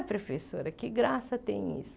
Professora, que graça tem isso.